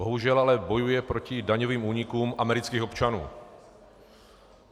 Bohužel ale bojuje proti daňovým únikům amerických občanů.